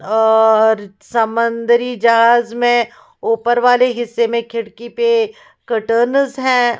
औऔर समंदरी जहाज में ऊपर वाले हिस्से में खिड़की पे क्ट्लस हैं।